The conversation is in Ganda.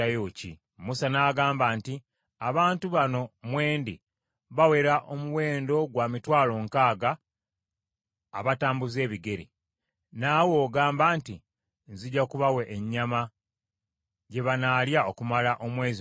Musa n’agamba nti, “Abantu bano mwe ndi bawera omuwendo gwa mitwalo nkaaga abatambuza ebigere, naawe ogamba nti, ‘Nzija kubawa ennyama gye banaalya okumala omwezi mulamba!’